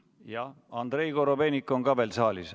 Jaa, Andrei Korobeinik on ka veel saalis.